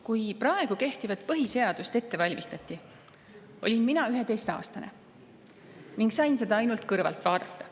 Kui praegu kehtivat põhiseadust ette valmistati, olin mina 11-aastane ning sain seda ainult kõrvalt vaadata.